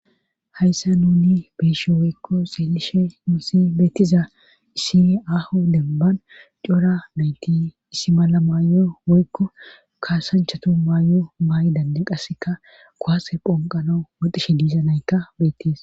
Hayssa nuni beeshe woykko xeelishe nuusi beettiza issi ahu denban cora meyti issi mala maayo woykko kaasanchatu maayo maay7i dande qasseka kowase phonqano woxishe diizanaykka bettis.